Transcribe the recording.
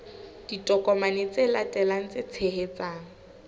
ditokomane tse latelang tse tshehetsang